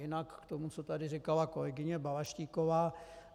Jinak k tomu, co tu říkala kolegyně Balaštíková.